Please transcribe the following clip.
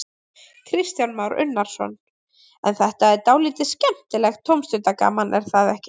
Kristján Már Unnarsson: En þetta er dálítið skemmtilegt tómstundagaman, er það ekki?